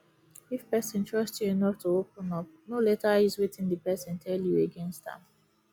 if person trust you enough to open up no later use wetin di person tell you against am